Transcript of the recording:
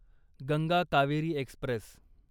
Ganga Kaveri Express